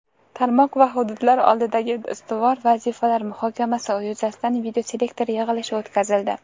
tarmoq va hududlar oldidagi ustuvor vazifalar muhokamasi yuzasidan videoselektor yig‘ilishi o‘tkazildi.